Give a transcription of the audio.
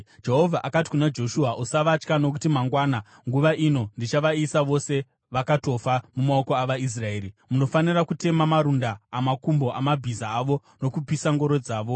Jehovha akati kuna Joshua, “Usavatya nokuti mangwana nguva ino ndichavaisa vose vakatofa mumaoko avaIsraeri. Munofanira kutema marunda amakumbo amabhiza avo nokupisa ngoro dzavo.”